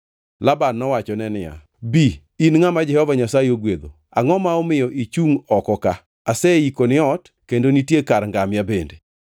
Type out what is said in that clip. Laban nowachone niya, “Bi, in ngʼama Jehova Nyasaye ogwedho. Angʼo ma omiyo ichungʼ oko ka? Aseikoni ot kendo nitie kar ngamia bende.”